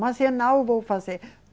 Mas eu não vou fazer.